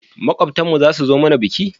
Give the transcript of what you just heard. Makwabtan mu zasu zo mana biki?